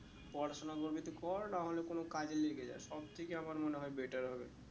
পড়াশোনা করবি তো কর না হলে কোনো কাজে লেগে যা সব থেকে আমার মনে হয়ে better হবে